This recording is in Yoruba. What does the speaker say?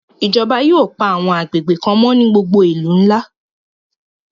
Ijọba yóò pa àwọn agbegbe kan mọ ni gbogbo àwọn ilu nla